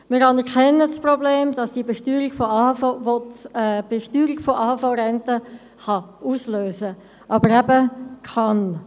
Wir anerkennen das Problem, welches die Besteuerung von AHV-Renten auslösen kann – aber, eben: kann.